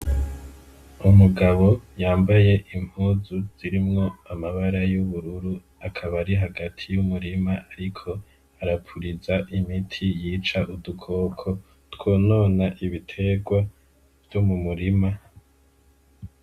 Umugabo yambaye impuzu zirimwo amabara y'ubururu akabari hagati y'umurima, ariko arapuriza imiti yica udukoko twonona ibiterwa vyo mumurima.